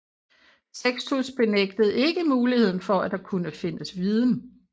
Sextus benægtede ikke muligheden for at der kunne findes viden